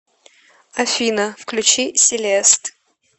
афина включи селест